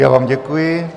Já vám děkuji.